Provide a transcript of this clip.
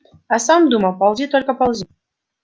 а сам думал ползи только ползи